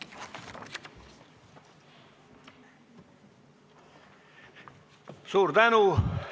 Suur tänu!